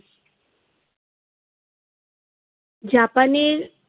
জাপানের